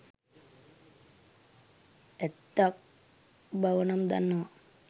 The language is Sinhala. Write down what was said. ඇත්තක් බව නම් දන්නවා.